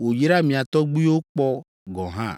wòyra mia tɔgbuiwo kpɔ gɔ̃ hã.